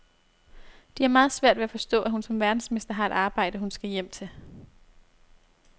De har meget svært ved at forstå, at hun som verdensmester har et arbejde, hun skal hjem til.